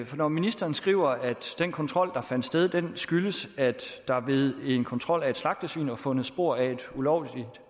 for når ministeren skriver at den kontrol der fandt sted skyldtes at der ved en kontrol af et slagtesvin var fundet spor af et ulovligt